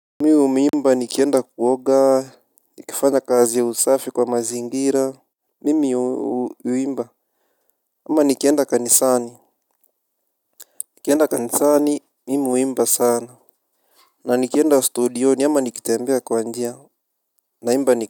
Mimi humiimba nikienda kuoga, nikifanya kazi ya usafi kwa mazingira. Mimi uumiimba. Ama nikienda kanisani nikienda kanisani, mimi umiimba sana na nikienda studioni ama nikitembea kwa njia naimba nik.